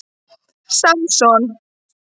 Samson